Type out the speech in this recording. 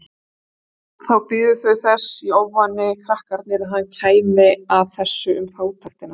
Þá biðu þau þess í ofvæni krakkarnir að hann kæmi að þessu um fátæktina.